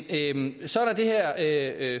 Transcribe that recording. igennem det er